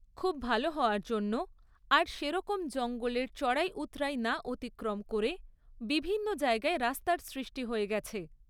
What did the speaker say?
খুব ভালো হওয়ার জন্য আর সেরকম জঙ্গলের চড়াই উৎরাই না অতিক্রম করে বিভিন্ন জায়গায় রাস্তার সৃষ্টি হয়ে গেছে।